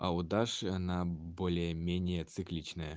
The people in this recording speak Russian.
а у даши она более-менее цикличная